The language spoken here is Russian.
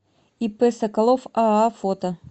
ип соколов аа фото